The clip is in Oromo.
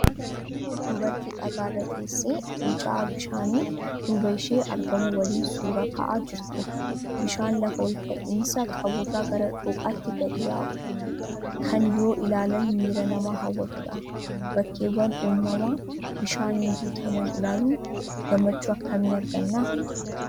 Dubartii dhagaa irra teessee Fincaa'aa bishaanii duuba isheen argamu waliin suuraa ka'aa jirtu, bishaan lafa olka'insa qabu irraa gara dhooqaatti gadi yaa'u, kan yoo ilaalan miira namaa hawwatudha. Bakkeewwan uumamaa bishaaniin guutaman ilaaluun gammachuu akkamii arganna?